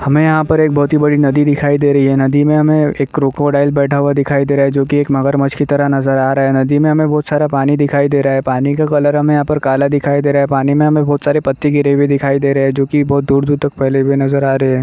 हमें यहाँ पर एक बहोत ही बड़ी नदी दिखायी दे रही है। नदी में हमें एक क्रोकोडाइल बैठा हुआ दिखाई दे रहा है जोकि एक मगरमछ की तरह नजर आ रहा है। नदी में हम बहोत सारा पानी दिखायी दे रहा है। पानी का कलर हमें यहाँ पर काला दिखाई दे रहा है। पानी में हमें बहोत सारे पत्ते गिरे हुए दिखाई दे रहे हैं जोकि बहोत दूर-दूर तक फैले हुए नजर आ रहे हैं।